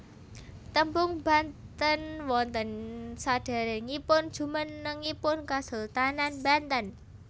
Tembung Banten wonten saderengipun jumenengipun Kesultanan Banten